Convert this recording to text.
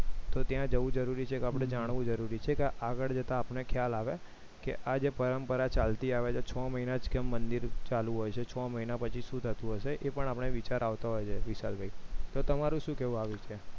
તો ત્યાં જવું જરૂરી છે કે આપણે જાણવું જરૂરી છે કે આગળ જતા આપણને ખ્યાલ આવે કે આ જે પરંપરા ચાલતી આવે છે છ મહિના જ કેમ મંદિર ચાલુ હોય છે છ મહિના પછી શું થતું હશે આપણે એ વિચાર આવતા હોય છે વિશાલભાઈ તો તમારું શું કહેવું આ વિશે